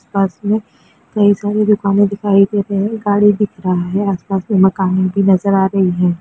पास में कई सारी दुकानें दिखाई दे रही हैं गाडी दिख रहा है आसपास में मकान भी नजर आ रही हैं।